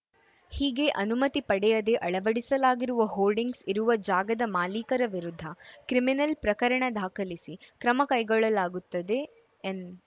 ಹೀಗೆ ಅನುಮತಿ ಪಡೆಯದೆ ಅಳವಡಿಸಲಾಗಿರುವ ಹೋರ್ಡಿಂಗ್ಸ್‌ ಇರುವ ಜಾಗದ ಮಾಲೀಕರ ವಿರುದ್ಧ ಕ್ರಿಮಿನಲ್‌ ಪ್ರಕರಣ ದಾಖಲಿಸಿ ಕ್ರಮ ಕೈಗೊಳ್ಳಲಾಗುತ್ತದೆ ಎಂದ